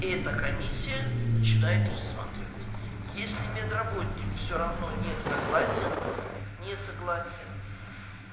эта комиссия начинает рассматривать если медработник всё равно не согласен не согласен